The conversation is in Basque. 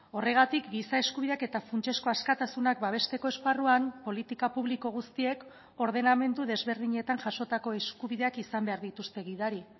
horregatik giza eskubideak eta funtsezko askatasunak babesteko esparruan politika publiko guztiek ordenamendu desberdinetan jasotako eskubideak izan behar dituzte gidari